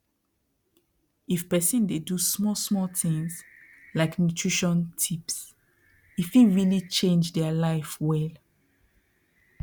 if person dey do small small things like nutrition tips e fit really change their life well